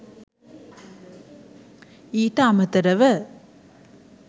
ඊට අමතරව